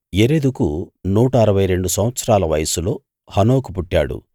యెరెదుకు నూట అరవై రెండు సంవత్సరాల వయస్సులో హనోకు పుట్టాడు